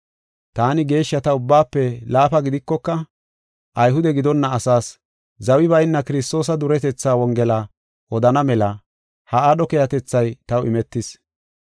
Taani geeshshata ubbaafe laafa gidikoka Ayhude gidonna asaas zawi bayna Kiristoosa duretetha Wongela odana mela ha aadho keehatethay taw imetis.